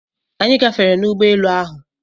Anyị gafere n'ụgbọ elu ahụ.